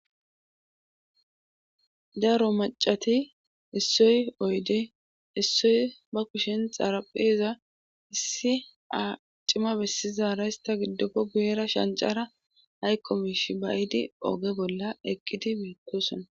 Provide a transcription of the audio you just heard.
Daro macati issoy oyde issoy ba kushin xarapheza issi aacima bessizara ysta giddopfe guyera shancara haykkomiish bayidi ooge bolla eqqidi beetosona.